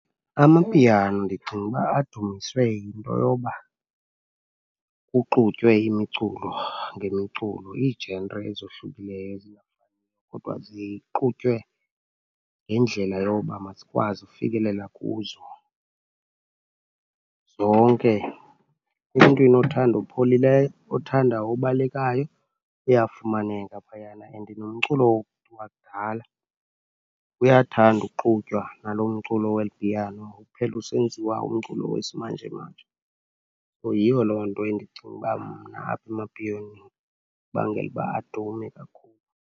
Amapiano ndicinga uba adunyiswe yinto yoba kuxutywe imiculo ngemiculo, i-genre ezohlukileyo kodwa zixutywe ngendlela yoba masikwazi ufikelela kuzo zonke. Emntwini othanda opholileyo, othanda obalekayo, uyafumaneka phayana and nomculo wakudala uyathanda uxutywa nalo mculo weli piano uphele usenziwa umculo wesimanjemanje. So, yiyo loo nto endicinga uba mna apha emapiyoneni ibangela uba adume kakhulu.